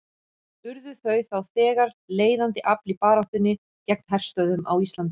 Urðu þau þá þegar leiðandi afl í baráttunni gegn herstöðvum á Íslandi.